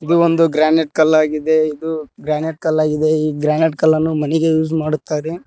ಇದು ಒಂದು ಗ್ರಾನೇಟ್ ಕಲ್ಲಾಗಿದೆ ಇದು ಗ್ರಾನೇಟ್ ಕಲ್ಲಾಗಿದೆ ಈ ಗ್ರಾನೇಟ್ ಕಲ್ಲನ್ನು ಮನೆಗೆ ಯೂಸ್ ಮಾಡುತ್ತಾರೆ.